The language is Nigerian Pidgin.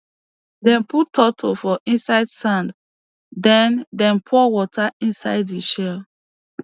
dem put turtle for inside sand then dem pour water inside the shell